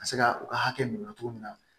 Ka se ka u ka hakɛ minɛ cogo min na